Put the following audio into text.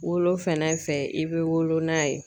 Wolo fɛnɛ fɛ i be wolo n'a ye